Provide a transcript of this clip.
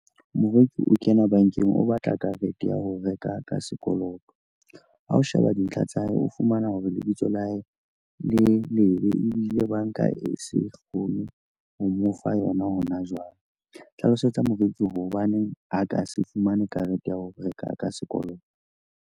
Moreki o kena bankeng, o batla karete ya ho reka ka sekoloto. Ha o sheba dintlha tsa hae, o fumana hore lebitso la hae le lebe ebile banka e se kgone ho mo fa yona hona jwale. Hlalosetsa moreki hore hobaneng a ka se fumane karete ya ho reka ka sekoloto.